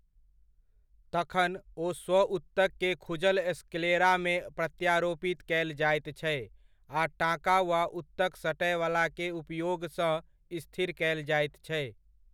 तखन, ओ स्व ऊतक के खुजल स्क्लेरामे प्रत्यारोपित कयल जाइत छै आ टाँका वा ऊतक सटयवलाके उपयोगसँ स्थिर कयल जाइत छै।